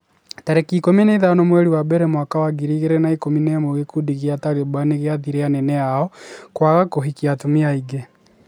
tarĩki ikũmi na ithano mweri wa mbere mwaka wa ngiri igĩrĩ na ikũmi na ĩmwe gĩkundi gĩa Taliban nĩgĩathĩte anene ao kwaga kũhikia atumia aingĩ.